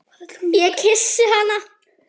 Ég kyssi hana.